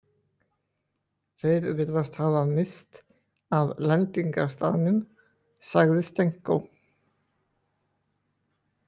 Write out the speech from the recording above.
Þeir virðast hafa misst af lendingarstaðnum, sagði Stenko.